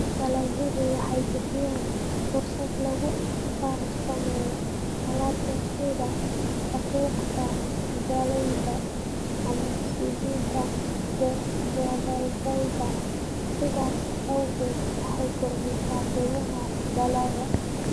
Dalagyadu waxay bixiyaan fursado lagu farsameeyo alaabta sida daqiiqda galleyda ama saliidda gabbaldayaha, sidaas awgeed waxay kordhisaa qiimaha dalagga.